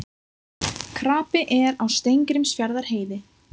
Krapi er á Steingrímsfjarðarheiði